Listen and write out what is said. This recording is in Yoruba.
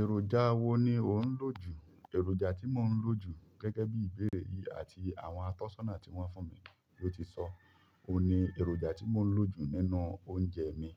Èròjà wo ni o n lo ju èròjà tí mo ń lò jù gẹ́gẹ́ bí ìbéèrè yìí àti àwọn àtọ́sàná tí wọ́n fún mi ló ti sọ, òun ni èròjà tí mo ń lò jù nínú oúnjẹ mi.